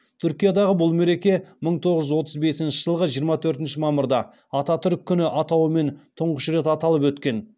түркиядағы бұл мереке мың тоғыз жүз отыз бесінші жылғы жиырма төртінші мамырда ататүрік күні атауымен тұңғыш рет аталып өткен